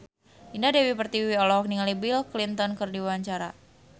Indah Dewi Pertiwi olohok ningali Bill Clinton keur diwawancara